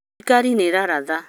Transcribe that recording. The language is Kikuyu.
thirikaari nĩ ĩraratha